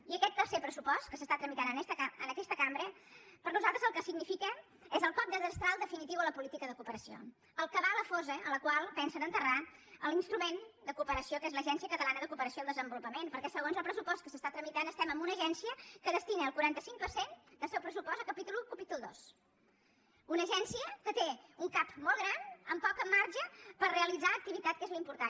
i aquest tercer pressupost que s’està tramitant en aquesta cambra per nosaltres el que significa és el cop de destral definitiu a la política de cooperació el que va a la fosa en la qual pensen enterrar l’instrument de cooperació que és l’agència catalana de cooperació al desenvolupament perquè segons el pressupost que s’està tramitant estem amb una agència que destina el quaranta cinc per cent del seu pressupost a capítol i i capítol ii una agència que té un cap molt gran amb poc marge per realitzar activitat que és l’important